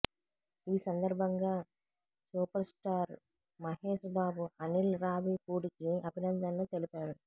ఈ సందర్భంగా సూపర్స్టార్ మహేశ్బాబు అనిల్ రావిపూడికి అభినందనలు తెలిపాడు